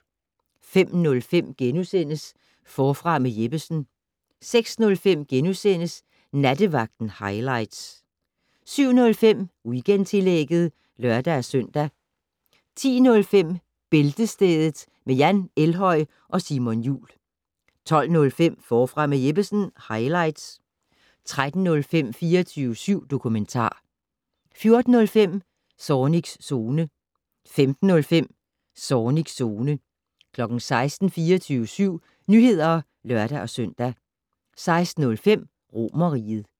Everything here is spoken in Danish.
05:05: Forfra med Jeppesen * 06:05: Nattevagten highlights * 07:05: Weekendtillægget (lør-søn) 10:05: Bæltestedet med Jan Elhøj og Simon Jul 12:05: Forfra med Jeppesen - highlights 13:05: 24syv dokumentar 14:05: Zornigs Zone 15:05: Zornigs Zone 16:00: 24syv Nyheder (lør-søn) 16:05: Romerriget